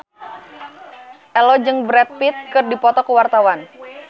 Ello jeung Brad Pitt keur dipoto ku wartawan